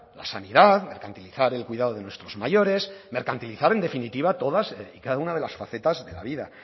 la sanidad mercantilizar el cuidado de nuestros mayores mercantilizar en definitiva todas y cada una de las facetas de la vida